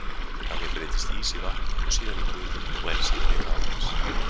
Þannig breytist ís í vatn og síðan í gufu og enn síðar í rafgas.